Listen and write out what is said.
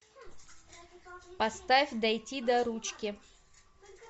поставь дойти до ручки